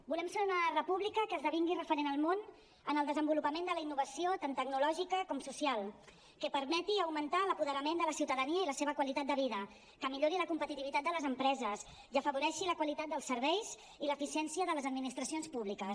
volem ser una república que esdevingui referent al món en el desenvolupament de la innovació tant tecnològica com social que permeti augmentar l’apoderament de la ciutadania i la seva qualitat de vida que millori la competitivitat de les empreses i afavoreixi la qualitat dels serveis i l’eficiència de les administracions públiques